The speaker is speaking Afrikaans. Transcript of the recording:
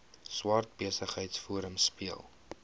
swart besigheidsforum speel